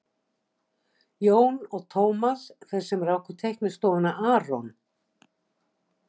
Jón og Tómas, þeir sem ráku teiknistofuna aRON